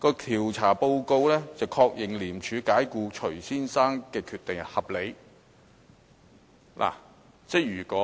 調查報告確認，廉署解僱徐先生的決定合理。